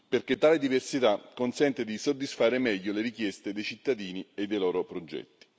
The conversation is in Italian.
perché tale diversità consente di soddisfare meglio le richieste dei cittadini e dei loro progetti.